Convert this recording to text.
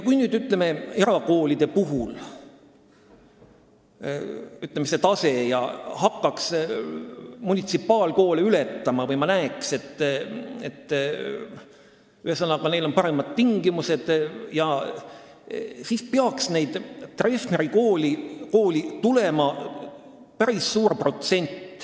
Kui erakoolide tase hakkaks munitsipaalkoolide taset ületama või oleks näha, et seal on paremad tingimused, siis peaks päris suur protsent nendest lastest Treffneri kooli tulema.